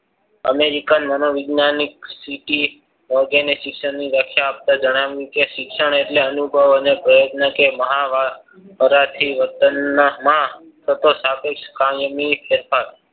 American મનોવિજ્ઞાનની સ્થિતિ વ્યાખ્યા આપતા જણાવ્યું. કે શિક્ષણ એટલે અનુભવ અને પ્રયત્નથી મહા વર્તનમાં સાપેક્ષ કાળમાં ફેરફાર